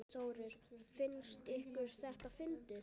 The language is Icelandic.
Þórir: Finnst ykkur þetta fyndið?